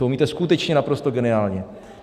To umíte skutečně naprosto geniálně.